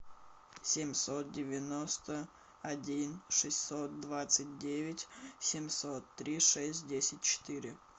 семьсот девяносто один шестьсот двадцать девять семьсот три шесть десять четыре